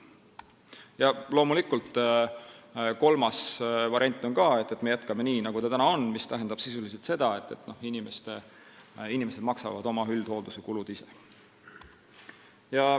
Loomulikult, kolmas variant on ka: me jätkame nii nagu täna, mis tähendab sisuliselt seda, et inimesed maksavad oma üldhoolduse kulud ise.